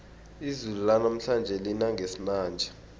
izulu lanamhlanje lina ngesinanja